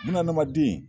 Bunahadamaden